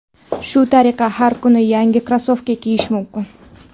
Shu tariqa har kuni yangi krossovka kiyish mumkin.